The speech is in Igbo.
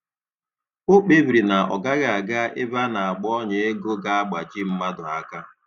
O kpebiri na ọ gaghị aga ebe a na - agba ọnya ego ga-agbaji mmadụ aka